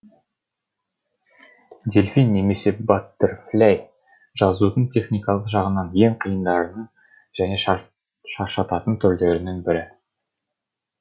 дельфин немесе баттерфляй жазудың техникалық жағынан ең қиындарының және шаршататын түрлерінің бірі